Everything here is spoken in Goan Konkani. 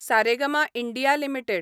Saregama India limited